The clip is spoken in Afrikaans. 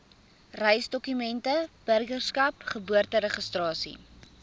reisdokumente burgerskap geboorteregistrasie